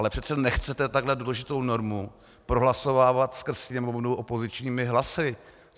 Ale přece nechcete takhle důležitou normu prohlasovávat skrz Sněmovnu opozičními hlasy.